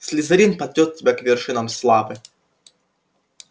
слизерин падёт тебя к вершинам славы